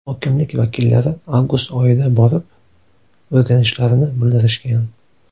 Hokimlik vakillari avgust oyida borib o‘rganishlarini bildirishgan.